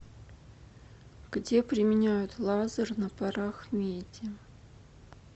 где применяют лазер на парах меди